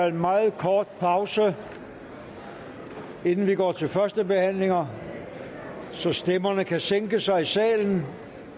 en meget kort pause inden vi går til første behandlinger så stemmerne kan sænke sig i salen